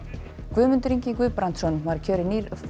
Guðmundur Ingi Guðbrandsson var kjörinn nýr